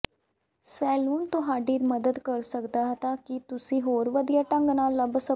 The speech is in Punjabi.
ਸੈਲੂਨ ਤੁਹਾਡੀ ਮਦਦ ਕਰ ਸਕਦਾ ਹੈ ਤਾਂ ਕਿ ਤੁਸੀਂ ਹੋਰ ਵਧੀਆ ਢੰਗ ਨਾਲ ਲੱਭ ਸਕੋ